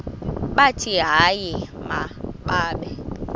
bathi hayi mababe